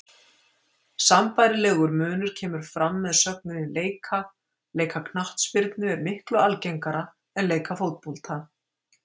Sambærilegur munur kemur fram með sögninni leika, leika knattspyrnu er miklu algengara en leika fótbolta.